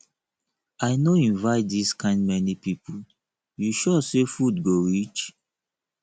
i no invite dis kind many people you sure say food go reach